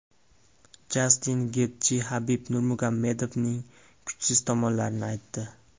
Jastin Getji Habib Nurmagomedovning kuchsiz tomonlarini aytdi.